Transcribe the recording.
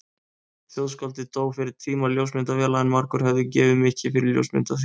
Þjóðskáldið dó fyrir tíma ljósmyndavéla en margur hefði gefið mikið fyrir ljósmynd af því.